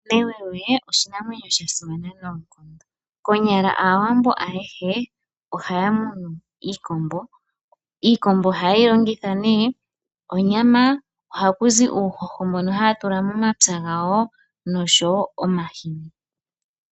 Newewe oshinamwenyo sha simana noonkondo konyala aawambo ayehe ohaya munu iikombo, iikombo ohaye yi longitha onyama ohakuzi uuhoho mbono haya tula momapya gawo nomahini.